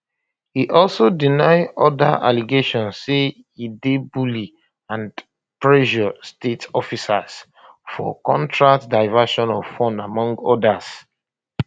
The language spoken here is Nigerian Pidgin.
e also deny oda allegations say e dey bully and pressure state officers for contracts diversion of funds among odas